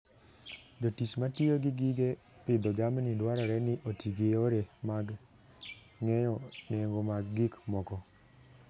Jotich matiyo gi gige pidho jamni dwarore ni oti gi yore mag ng'eyo nengo mag gik moko.